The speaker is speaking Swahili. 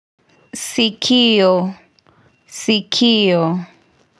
Sikio, sikio.